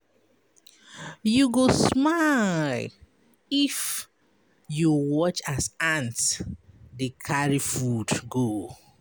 You go smile if you watch as ant dey carry food go.